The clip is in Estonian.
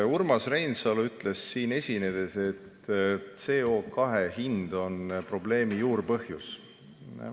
Urmas Reinsalu ütles siin esinedes, et CO2 hind on probleemi juurpõhjus.